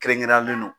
Kɛrɛnkɛrɛnnen do